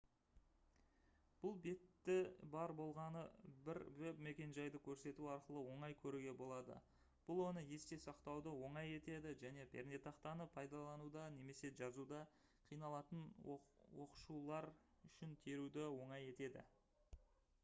бұл бетті бар болғаны бір веб-мекенжайды көрсету арқылы оңай көруге болады бұл оны есте сақтауды оңай етеді және пернетақтаны пайдалануда немесе жазуда қиналатын оқушылар үшін теруді оңай етеді